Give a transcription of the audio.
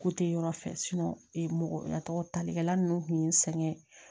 Ko te yɔrɔ fɛ mɔgɔ talikɛlan ninnu kun ye n sɛgɛn